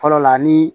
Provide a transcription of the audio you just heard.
Fɔlɔ la ni